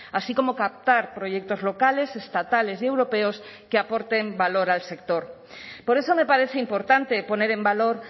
así como captar proyectos locales estatales y europeos que aporten valor al sector por eso me parece importante poner en valor